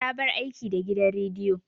Ta bar aiki da gidan rediyo.